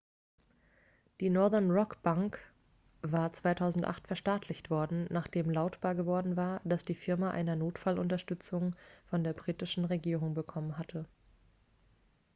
die northern-rock-bank war 2008 verstaatlicht worden nachdem lautbar geworden war dass die firma eine notfallunterstützung von der britischen regierung bekommen hatte